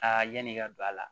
yan'i ka don a la